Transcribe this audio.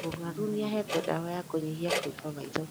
Mũrwaru nĩahetwo ndawa ya kũnyihia kũimba maitho